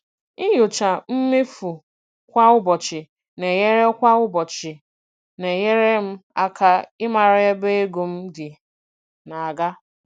Ịnyocha mmefu kwa ụbọchị na-enyere kwa ụbọchị na-enyere m aka ịmara ebe ego m dị na-aga.